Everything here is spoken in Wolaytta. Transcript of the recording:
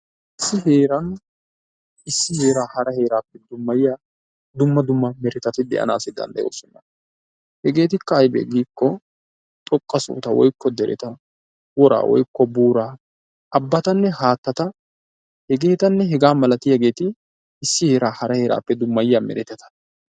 Issi heeran issi heera hara heeraappe dummayiya dumma dumma meretati de"anaassi dandayoosona. Hegeettikka ayibee giiko xoqqa sohota woyikko dereta, woraa woyikko buuraa, abbatanne haattata, hegeetanne hegaa malatiyaageeti issi heera hara heeraappe dummayiyaa meretata.